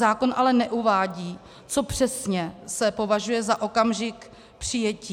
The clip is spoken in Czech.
Zákon ale neuvádí, co přesně se považuje za okamžik přijetí.